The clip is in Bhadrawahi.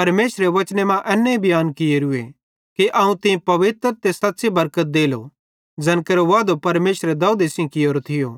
परमेशरे बचने मां एन्ने बियांन कियोरूए कि अवं तीं पवित्र ते सच़्च़ी बरकत देलो ज़ैन केरो वादो परमेशरे दाऊदे सेइं कियोरो थियो